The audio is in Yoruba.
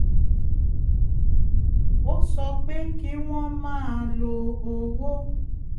ó sọ pé kí wọ́n máa lo owó